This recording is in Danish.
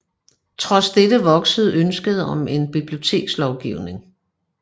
Trods dette voksede ønsket om en bibliotekslovgivning